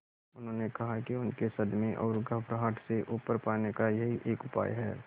उन्होंने कहा कि उनके सदमे और घबराहट से उबर पाने का यही एक उपाय है